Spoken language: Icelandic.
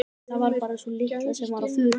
Það var bara sú litla sem var á förum.